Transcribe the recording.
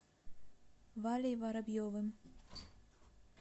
валей воробьевым